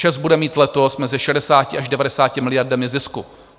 ČEZ bude mít letos mezi 60 až 90 miliardami zisku.